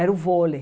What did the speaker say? Era o vôlei.